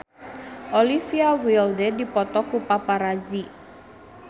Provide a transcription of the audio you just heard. Olivia Wilde dipoto ku paparazi